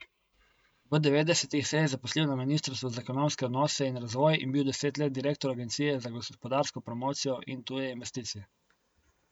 V devetdesetih se je zaposlil na ministrstvu za ekonomske odnose in razvoj in bil deset let direktor Agencije za gospodarsko promocijo in tuje investicije.